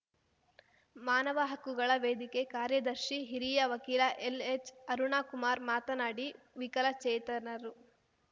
ಮಾನವ ಹಕ್ಕುಗಳ ವೇದಿಕೆ ಕಾರ್ಯದರ್ಶಿ ಹಿರಿಯ ವಕೀಲ ಎಲ್‌ಎಚ್‌ಅರುಣಕುಮಾರ್ ಮಾತನಾಡಿ ವಿಕಲಚೇತನರು